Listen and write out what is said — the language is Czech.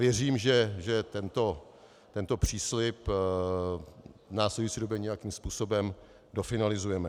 Věřím, že tento příslib v následující době nějakým způsobem dofinalizujeme.